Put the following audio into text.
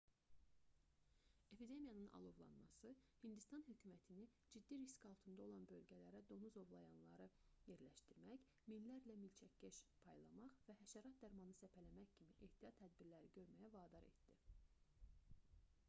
epidemiyanın alovlanması hindistan hökumətini ciddi risk altında olan bölgələrə donuz ovlayanları yerləşdirmək minlərlə milçəkkeş paylamaq və həşərat dərmanı səpələmək kimi ehtiyat tədbirləri görməyə vadar etdi